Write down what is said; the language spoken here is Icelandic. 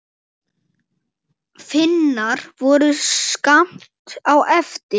Finnar voru skammt á eftir.